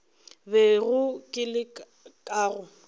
bego ke le ka go